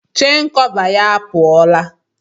Chen kọva ya apụọla.